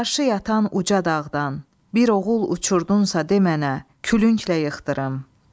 Qarşı yatan uca dağdan bir oğul uçurdunsa de mənə, külünglə yıxdırım.